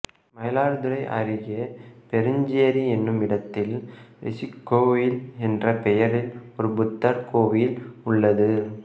மயிலாடுதுறை அருகே பெருஞ்சேரி என்னுமிடத்தில் ரிஷிக்கோயில் என்ற பெயரில் ஒரு புத்தர் கோயில் உள்ளது